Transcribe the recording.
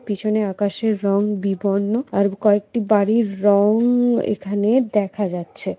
পিছনে আকাশের রং বিবর্ণ আর কয়েকটি বাড়ির রং এখানে দেখা যাচ্ছে।